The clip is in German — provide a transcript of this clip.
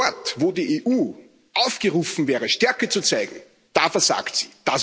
Dort, wo die EU aufgerufen wäre, Stärke zu zeigen, da versagt sie.